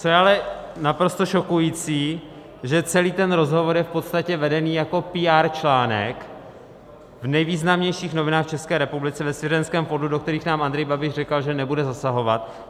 Co je ale naprosto šokující, že celý ten rozhovor je v podstatě vedený jako PR článek v nejvýznamnějších novinách v České republice ve svěřenském fondu, do kterých nám Andrej Babiš říkal, že nebude zasahovat.